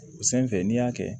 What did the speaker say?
O sanfɛ n'i y'a kɛ